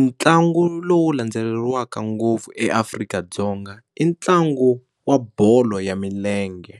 ntlangu lowu landzeleriwaka ngopfu eAfrika-Dzonga i ntlangu wa bolo ya milenge.